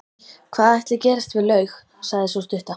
Hvað ætli gerist við laug, sagði sú stutta.